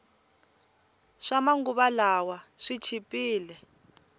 swama nguva lawa swi chipile